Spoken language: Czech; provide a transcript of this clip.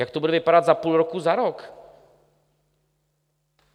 Jak to bude vypadat za půl roku, za rok?